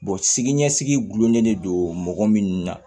sini ɲɛsigi gulonnen don mɔgɔ min na